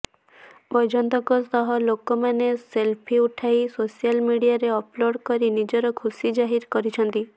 ବୈଜୟନ୍ତଙ୍କ ସହ ଲୋକମାନେ ସେଲଫି ଉଠାଇ ସୋସିଆଲ ମିଡିଆରେ ଅପଲୋଡ୍ କରି ନିଜର ଖୁସି ଜାହିର କରିଛନ୍ତି